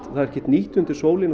það er ekkert nýtt undir sólinni